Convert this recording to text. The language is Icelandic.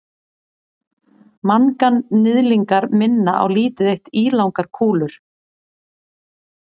manganhnyðlingar minna á lítið eitt ílangar kúlur